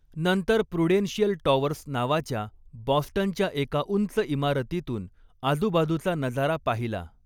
नंतर Prudential Towers नावाच्या बॉस्टनच्या एका उंच इमारतीतून आजूबाजूचा नजारा पाहिला.